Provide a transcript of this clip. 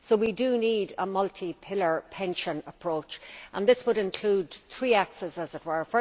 So we need a multi pillar pension approach and this would include three axes, as it were.